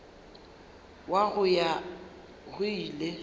wa go ya go ile